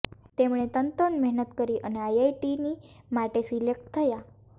તેમણે તનતોડ મહેનત કરી અને આઇઆઇટીની માટે સિલેક્ટ થયા